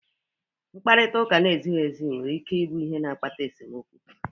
Mkparịta ụka na-ezighị ezi nwere ike ịbụ ihe na-akpata esemokwu.